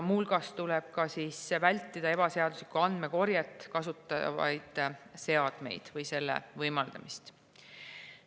Muu hulgas tuleb vältida ebaseaduslikku andmekorjet kasutavaid seadmeid või selle võimaldamist.